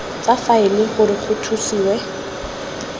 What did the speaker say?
tsa faele gore go thusiwe